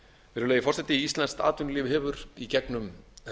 virðulegi forseti íslenskt atvinnulíf hefur í gegnum